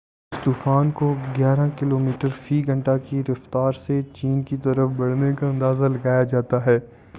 اس طوفان کو گیارہ کلومیٹر فی گھنٹہ کی رفتار سے چین کی طرف بڑھنے کا اندازہ لگایا جاتا ہے